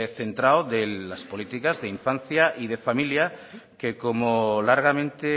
centrado de las políticas de infancia y de familia que como largamente